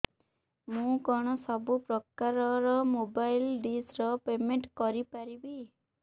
ମୁ କଣ ସବୁ ପ୍ରକାର ର ମୋବାଇଲ୍ ଡିସ୍ ର ପେମେଣ୍ଟ କରି ପାରିବି